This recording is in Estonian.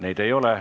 Neid ei ole.